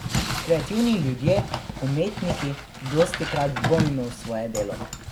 Kreativni ljudje, umetniki, dostikrat dvomimo v svoje delo.